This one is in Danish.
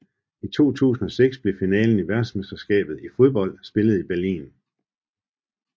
I 2006 blev finalen i verdensmesterskabet i fodbold spillet i Berlin